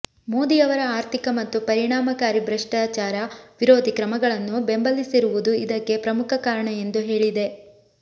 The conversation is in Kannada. ಮೋದಿಯವರ ಆರ್ಥಿಕ ಮತ್ತು ಪರಿಣಾಮಕಾರಿ ಭ್ರಷ್ಟಾಚಾರ ವಿರೋಧಿ ಕ್ರಮಗಳನ್ನು ಬೆಂಬಲಿಸಿರುವುದು ಇದಕ್ಕೆ ಪ್ರಮುಖ ಕಾರಣ ಎಂದು ಹೇಳಿದೆ